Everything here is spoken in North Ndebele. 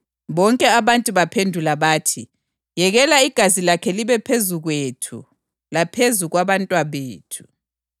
Bonke abantu bamphendula bathi, “Yekela igazi lakhe libe phezu kwethu laphezu kwabantwabethu!”